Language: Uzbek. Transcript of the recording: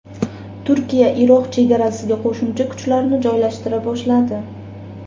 Turkiya Iroq chegarasiga qo‘shimcha kuchlarni joylashtira boshladi.